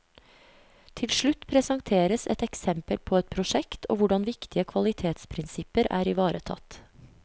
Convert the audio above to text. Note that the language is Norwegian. Til slutt presenteres et eksempel på et prosjekt og hvordan viktige kvalitetsprinsipper er ivaretatt.